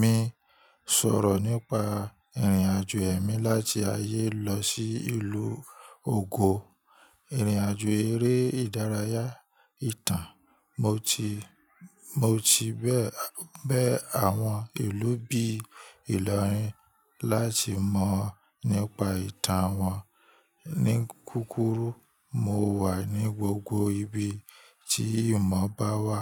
mi sọ̀rọ̀ nípa ìrìnàjò ẹ̀mí láti ayé lọ sí ìlú ògo. Ìrìnàjò eré ìdárayá, ìtàn. Mo ti, mo ti bẹ, bẹ àwọn ìlú bí Ilorin láti mọ̀ ọ nípa ìtàn wọn. Ní kúkúrú, mo wà ní gbogbo ibi tí ìmọ̀ bá wà.